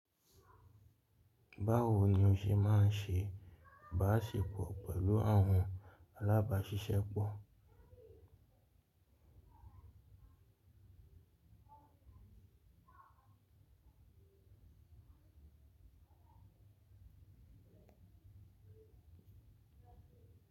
Báwo ni o ṣe máa ń ṣe báṣepọ̀ pẹ̀lú àwọn alábáṣiṣẹ́pọ̀?